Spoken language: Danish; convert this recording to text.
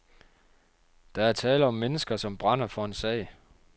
Der er tale om mennesker, som brænder for en sag.